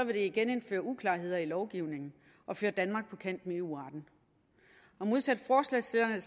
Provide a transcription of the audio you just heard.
det genindføre uklarheder i lovgivningen og føre danmark på kant med eu retten modsat forslagsstillerne